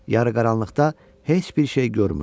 Yarıqaranlıqda heç bir şey görmürdü.